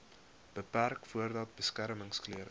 beperk voordat beskermingsklere